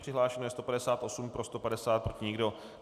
Přihlášeno je 158, pro 150, proti nikdo.